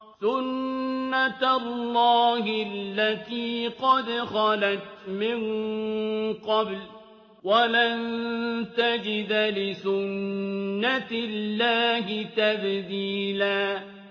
سُنَّةَ اللَّهِ الَّتِي قَدْ خَلَتْ مِن قَبْلُ ۖ وَلَن تَجِدَ لِسُنَّةِ اللَّهِ تَبْدِيلًا